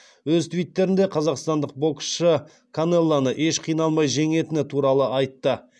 өз твиттерінде қазақстандық боксшы канелоны еш қиналмай жеңетіні туралы айтты